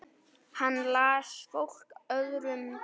Hann las fólk öðrum betur.